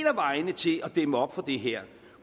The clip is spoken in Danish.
af vejene til at dæmme op for det her